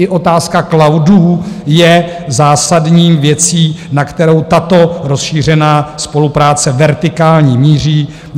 I otázka cloudů je zásadní věcí, na kterou tato rozšířená spolupráce vertikální míří.